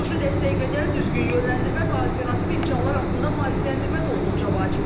Psixoloji dəstək qədər düzgün yönləndirmə və alternativ imkanlar haqqında maarifləndirmə də olduqca vacibdir.